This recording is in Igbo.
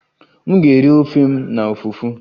M ga-eri ofe m na fufu